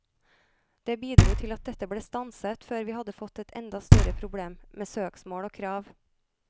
Det bidro til at dette ble stanset før vi hadde fått et enda større problem, med søksmål og krav.